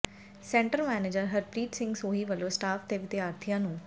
centre manager Harpreet Singh Sohi ਵੱਲੋਂ staff ਤੇ ਵਿਦਿਆਰਥੀਆਂ ਨੂ